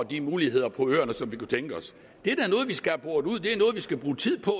de muligheder på øerne som de kunne det er noget vi skal bruge tid på